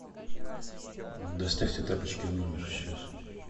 доставьте тапочки в номер сейчас